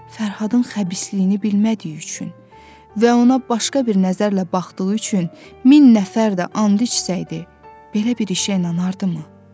Fərhadın xəbisliyini bilmədiyi üçün və ona başqa bir nəzərlə baxdığı üçün min nəfər də and içsəydi, belə bir işə inanardımı?